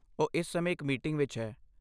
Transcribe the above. ਉਹ ਇਸ ਸਮੇਂ ਇੱਕ ਮੀਟਿੰਗ ਵਿੱਚ ਹੈ।